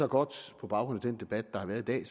godt på baggrund af den debat der har været i dag